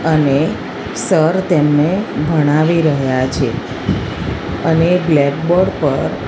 અને સર તેમને ભણાવી રહ્યા છે અને બ્લેક બોર્ડ પર--